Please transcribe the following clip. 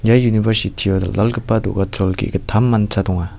ia university-o dal·dalgipa do·gachol ge·gittam mancha donga.